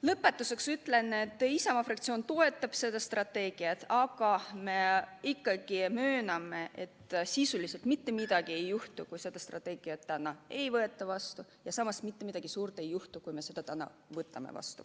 Lõpetuseks ütlen, et Isamaa fraktsioon toetab seda strateegiat, aga me mööname, et sisuliselt mitte midagi ei juhtu, kui seda strateegiat täna vastu ei võeta, ja samas mitte midagi suurt ei juhtu, kui me selle täna vastu võtame.